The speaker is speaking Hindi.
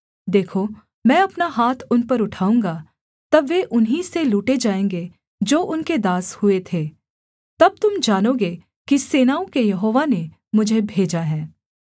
देखो मैं अपना हाथ उन पर उठाऊँगा तब वे उन्हीं से लूटे जाएँगे जो उनके दास हुए थे तब तुम जानोगे कि सेनाओं के यहोवा ने मुझे भेजा है